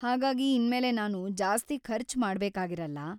ಹಾಗಾಗಿ ‌ಇನ್ಮೇಲೆ ನಾನು ಜಾಸ್ತಿ ಖರ್ಚ್ ಮಾಡ್ಬೇಕಾಗಿರಲ್ಲ.